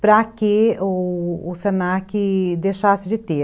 para que o se na que deixasse de ter.